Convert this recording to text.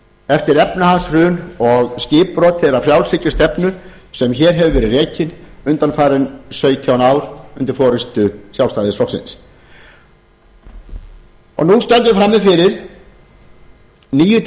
eftir efnahagshrun og skipbrot þeirrar frjálshyggjustefnu sem hér hefur verið rekin undanfarin sautján ár undir forustu sjálfstæðisflokksins nú stöndum við frammi fyrir nýju